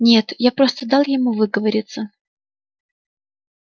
нет я просто дал ему выговориться